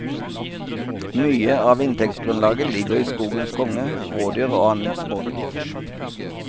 Mye av inntektsgrunnlaget ligger i skogens konge, rådyr og annet småvilt.